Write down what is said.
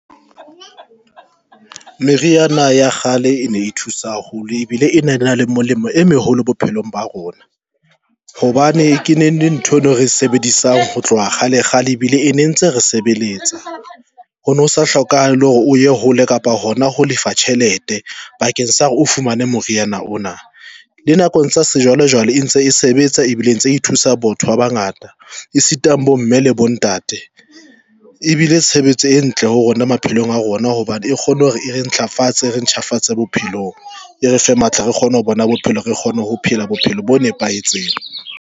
Meriana ya kgale e ne e thusa haholo ebile ene ena le molemo e meholo bophelong ba rona hobane e kene le ntho eno e re sebedisang ho tloha kgale kgale ebile e ne ntse re sebeletsa ho no sa hlokahale hore o ye hole kapa hona ho lefa tjhelete bakeng sa re o fumane moriana ona. Le nakong sa sejwalejwale e ntse e sebetsa ebile ntse e thusa botho ba bangata. Esitang bo mme le bontate ebile tshebetso e ntle ho rona maphelong a rona hobane e kgone hore e re ntlafatse e re ntjhafatse bophelong, e re fe matla, re kgone ho bona bophelo, re kgone ho phela bophelo bo nepahetseng.